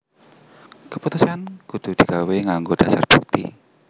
Keputusan kudu di gawé nggango dasar bukti